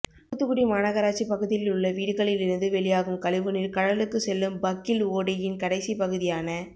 தூத்துக்குடி மாநகராட்சி பகுதிகளில் உள்ள வீடுகளில் இருந்து வெளியாகும் கழிவுநீா் கடலுக்கு செல்லும் பக்கிள் ஓடையின் கடைசிப் பகுதியான